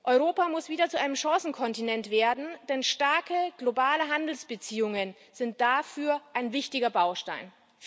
Europa muss wieder zu einem Chancenkontinent werden, denn starke globale Handelsbeziehungen sind dafür ein wichtiger Baustein.